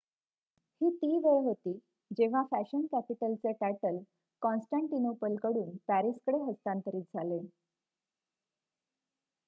ही ती वेळ होती जेव्हा फॅशन कॅपिटलचे टायटल कॉन्स्टँटिनोपल कडून पॅरिसकडे हस्तांतरित झाले